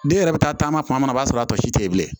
Den yɛrɛ bɛ taa taama kuma min na o b'a sɔrɔ a tɔ si tɛ yen bilen